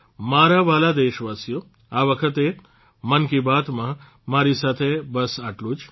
મારા વહાલા દેશવાસીઓ આ વખતે મન કી બાતમાં મારી સાથે બસ આટલું જ